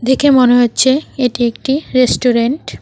দেখে মনে হচ্ছে এটি একটি রেস্টুরেন্ট ।